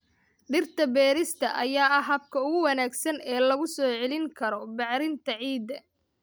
Dhirta beerista ayaa ah habka ugu wanaagsan ee lagu soo celin karo bacrinta ciidda.